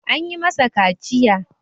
An yi masa kaciya.